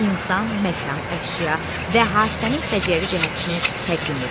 İnsan, məkan, əşya və hadisənin səciyyəvi cəhətini təqdim edir.